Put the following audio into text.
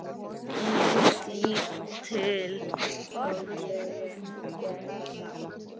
Eins lítil og ég get.